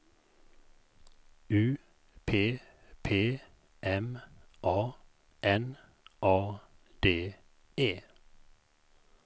U P P M A N A D E